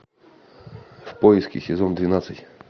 в поиске сезон двенадцать